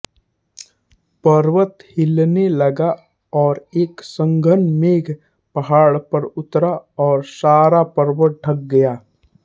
पर्वत हिलने लगा और एक संघन मेघ पहाड़ पर उतरा और सारा पर्वत ढँक गया